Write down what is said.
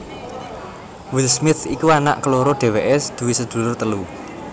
Will Smith iku anak keloro dhéwéké duwé sedulur telu